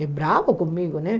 E bravo comigo, né?